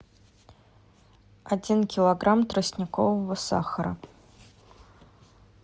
один килограмм тростникового сахара